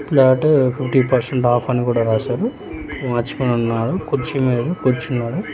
Flat fifty percent off అని కూడా రాశారు ఒక వాచ్మెన్ ఉన్నారు కూర్చి మీద కూర్చున్నారు.